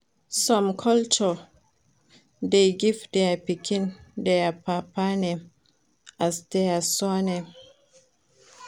Some culture de give their pikin their papa name as their surname